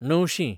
णवशीं